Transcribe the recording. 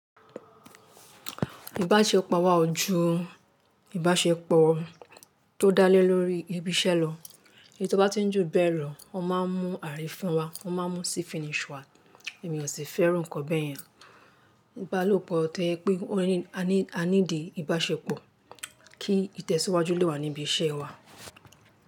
Ìbáṣepọ̀ wà ojú ìbáṣepọ̀ tó dá lé lórí ibi iṣẹ́ lọ. Èyí tó bá ti ń jù bẹ́ẹ̀ lọ, o máa ń mú arifin wa, o máa ń mú sí finish wa. Èmi ò sì fẹ́ irú nǹkan bẹ́ yẹn. Ìbálòpọ̀ tẹ́ẹ́ pé a ní ìdí ìbáṣepọ̀ kí ìtẹ̀síwájú lè wà níbi iṣẹ́ wa.